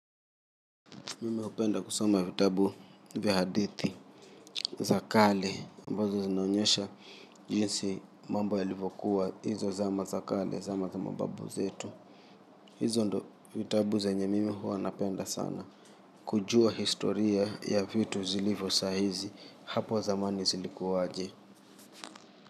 Mimi hupenda kusoma vitabu vya hadithi za kale ambazo zinaonyesha, jinsi mambo yalivyokuwa hizo zama za kale zama za mababu zetu. Hizo ndo vitabu zenye mimi huwa napenda sana. Kujua historia ya vitu zilivyo saa hizi, hapo zamani zilikuwa aje?